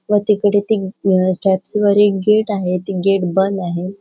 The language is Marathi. व तिकडे ते स्टेप्स वर गेट आहे ते गेट बंद आहे.